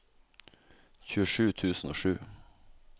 tjuesju tusen og sju